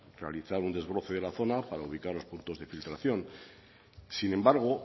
realizar un desbroce de la zona para ubicar los puntos de filtración sin embargo